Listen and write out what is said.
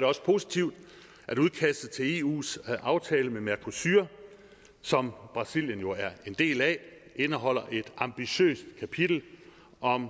det også positivt at udkastet til eus aftale med mercosur som brasilien jo er en del af indeholder et ambitiøst kapitel om